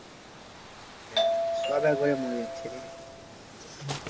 সদা করে মরে যাচ্ছে রে